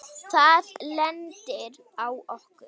Það lendir á okkur.